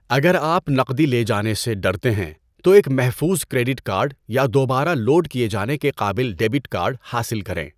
اگر آپ نقدی لے جانے سے ڈرتے ہیں، تو ایک محفوظ کریڈٹ کارڈ یا دوبارہ لوڈ کیے جانے کے قابل ڈیبٹ کارڈ حاصل کریں۔